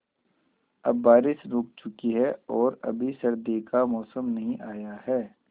अब बारिशें रुक चुकी हैं और अभी सर्दी का मौसम नहीं आया है